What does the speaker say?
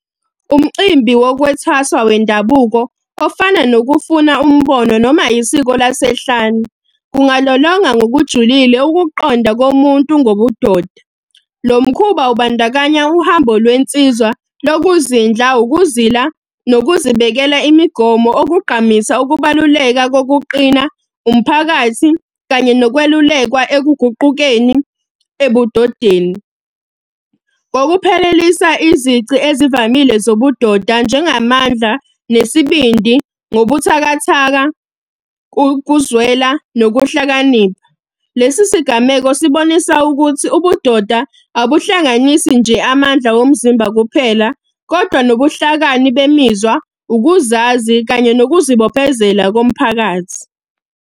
Umcimbi wokwethwasa wendabuko, ofana nokufuna umbono noma isiko lasehlane. Kungalolonga ngokujulile ukuqonda komuntu ngobudoda. Lo mkhuba ubandakanya uhambo lwensizwa lokuzindla, ukuzila, nokuzibekela imigomo okugqamisa, ukubaluleka kokuqina, umphakathi, kanye nokwelulekwa ekuguqukeni ebudodeni. ngokuphelelisa izici ezivamile zobudoda njengamandla, nesibindi, nobuthakathaka, kuzwela, nokuhlakanipha. Lesi sigameko sibonisa ukuthi ubudoda abuhlanganisi nje amandla omzimba kuphela, kodwa nobuhlakani bemizwa, ukuzazi kanye nokuzibophezela komphakathi.